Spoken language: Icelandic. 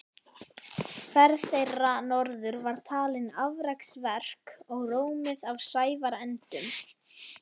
Ferð þeirra norður var talin afreksverk og rómuð af sæfarendum.